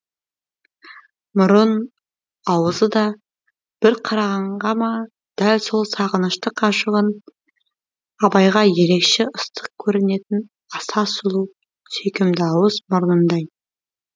мұрын аузы да бір қарағанға ма дәл сол сағынышты ғашығын абайға ерекше ыстық көрінетін аса сұлу сүйкімді ауыз мұрнындай